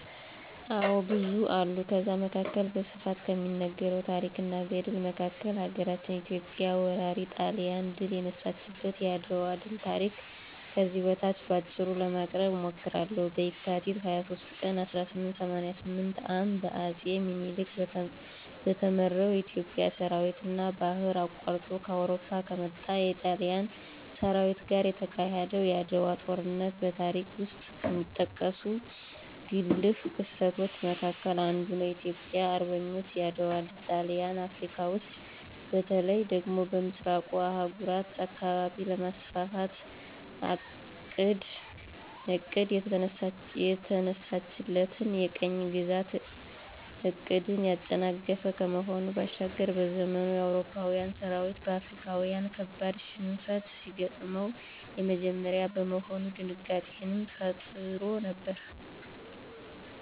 አዎ ብዙ አሉ ከዛ መካከል በስፋት ከሚነገረው ታረክ እና ገድል መካከል ሀገራችን ኢትዮጵያ ወራሪ ጣሊያንን ድል የነሳችበት የአድዋ ድል ታሪክ ከዚህ በታች በአጭሩ ለማቅረብ እሞክራለሁ፦ በካቲት 23 ቀን 1888 ዓ.ም በአጼ ምኒልክ በተመራው የኢትዮጵያ ሠራዊትና ባህር አቋርጦ ከአውሮፓ ከመጣው የጣሊያን ሠራዊት ጋር የተካሄደው የዓድዋው ጦርነት በታሪክ ውስጥ ከሚጠቀሱ ጉልህ ክስተቶች መካከል አንዱ ነው። የኢትዮጵያ አርበኞች የዓድዋ ድል ጣሊያን አፍረካ ውስጥ በተለይ ደግሞ በምሥራቁ የአህጉሪቱ አካባቢ ለማስፋፋት አቅዳ የተነሳችለትን የቅኝ ግዛት ዕቅድን ያጨናገፈ ከመሆኑ ባሻገር፤ በዘመኑ የአውሮፓዊያን ሠራዊት በአፍሪካዊያን ካበድ ሽንፈት ሲገጥመው የመጀመሪያ በመሆኑ ድንጋጤንም ፈጥሮ ነበር።